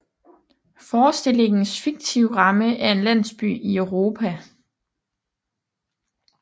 Forestillingens fiktive ramme er en landsby i Europa